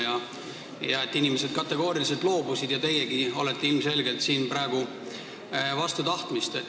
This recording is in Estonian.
Ütlesite, et inimesed kategooriliselt loobusid ja teiegi olete siin praegu ilmselgelt vastu tahtmist.